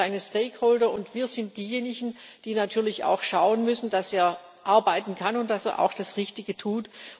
Wir sind seine Interessenträger, wir sind diejenigen, die natürlich auch schauen müssen, dass er arbeiten kann und dass er auch das Richtige tut.